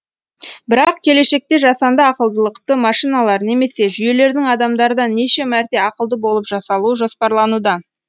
бірақ келешекте жасанды ақылдылықты машиналар немесе жүйелердің адамдардан неше мәрте ақылды болып жасалуы жоспарлануда